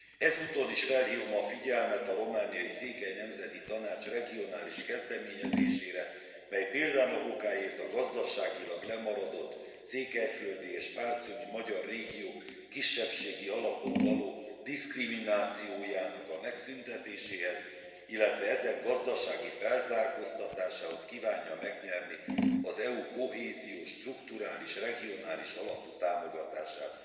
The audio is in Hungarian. Ezúton is felhívom a figyelmet a romániai Székely Nemzeti Tanács regionális kezdeményezésére, mely példának okáért a gazdaságilag lemaradott, székelyföldi és partiumi magyar régiók kisebbségi alapon való diszkriminációjának a megszüntetéséhez, illetve ezek gazdasági felzárkóztatásához kívánja megnyerni az EU kohéziós, strukturális, regionális alapú támogatását.